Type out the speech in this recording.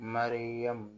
Mariyamu